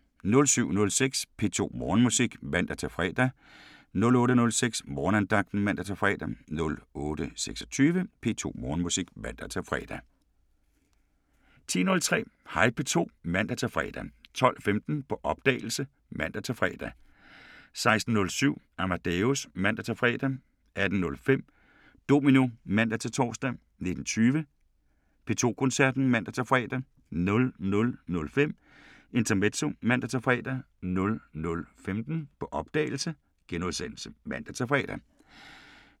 07:06: P2 Morgenmusik (man-fre) 08:06: Morgenandagten (man-fre) 08:26: P2 Morgenmusik (man-fre) 10:03: Hej P2 (man-fre) 12:15: På opdagelse (man-fre) 16:07: Amadeus (man-fre) 18:05: Domino (man-tor) 19:20: P2 Koncerten (man-fre) 00:05: Intermezzo (man-fre) 00:15: På opdagelse *(man-fre)